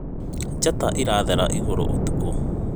njata irathera igũrũ ũtukũ